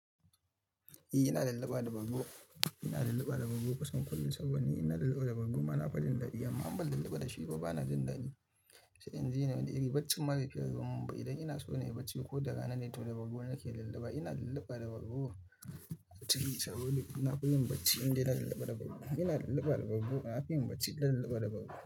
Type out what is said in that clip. Eh ina lallaba da bargo. Ina lallaba da bargo kusan kullum saboda ni ina lallaba da bargo ma na faɗin dadi. In ban lallaba da shi kuma bana jin dadi. Sai in je nan da iri, barci ma bai fiye ruwan mumba. Idan ina so na yi barci ko da rana, na yi tauna da bargo nake lallaba. Ina lallaba da bargo. Tashi, sauro, ina koyin barci idan ina lallaba da bargo. Ina lallaba da bargo, na fi yin barci idan ina lallaba da bargo.